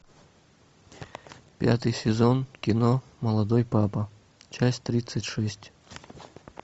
пятый сезон кино молодой папа часть тридцать шесть